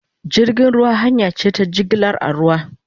Jirgin ruwa hanya ce ta jigilar a ruwa